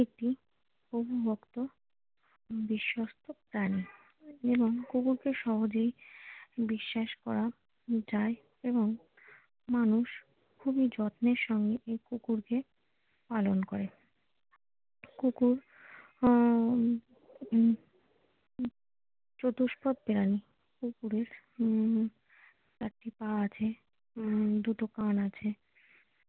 কুকুরকে পালন করে কুকুর আহ চতুষ্পদ প্রাণী কুকুরের উম চারটি পা আছে উম দুটো কান আছে।